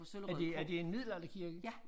Er det er det en middelalderkirke?